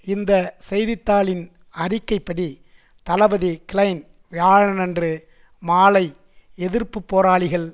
இந்த செய்தி தாளின் அறிக்கைப்படி தளபதி கிளைன் வியாழனன்று மாலை எதிர்ப்பு போராளிகள்